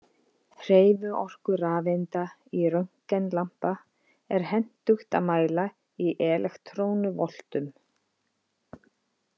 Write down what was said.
Hreyfiorku rafeinda í röntgenlampa er hentugt að mæla í elektrónuvoltum.